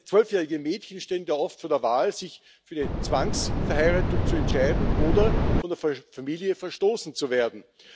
Zwölfjährige Mädchen stehen da oft vor der Wahl, sich für eine Zwangsverheiratung zu entscheiden oder von der Familie verstoßen zu werden.